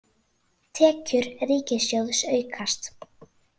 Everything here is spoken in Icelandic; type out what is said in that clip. Tekjur ríkissjóðs aukast